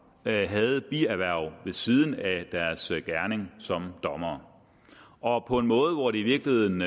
havde bierhverv ved siden af deres gerning som dommer og på en måde hvor det i virkeligheden